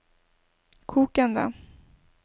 kokende